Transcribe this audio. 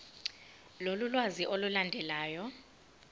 lolu lwazi olulandelayo